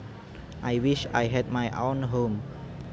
I wish I had my own home